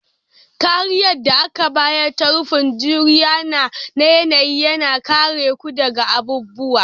Kariyar da aka bayar ta rufin juriya na yanayi, yana kare ku daga abubuwa